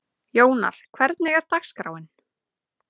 Jónar, hvernig er dagskráin?